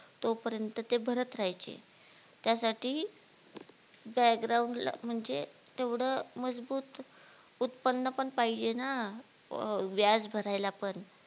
तोपर्यंत ते भरत राहायचे त्यासाठी background ला म्हणजे तेवढं मजबूत उत्पन पण पाहिजे ना व्याज भरायला पण